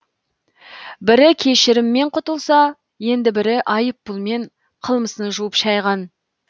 бірі кешіріммен құтылса енді бірі айыппұлмен қылмысын жуып шайған